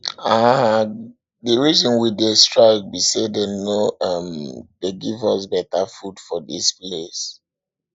um the reason we dey strike be say dey no um dey give us beta food for dis place